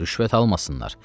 Rüşvət almasınlar.